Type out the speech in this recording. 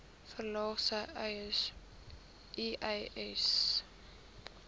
verlaag sê uys